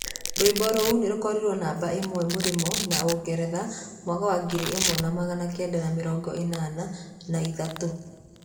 Rwĩmbo rũu nĩ rũkoriro namba ĩmwe Mũrimo na ũngeretha mwaka wa ngiri ĩmwe na magana kenda ma mĩrongo ĩnana na ĩtatũ.